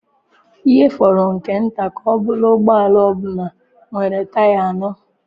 Ihe fọrọ nke nta ka ọ bụrụ ụgbọ ala ọ bụla nwere taya anọ.